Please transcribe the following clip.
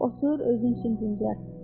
Otur özün üçün dincəl.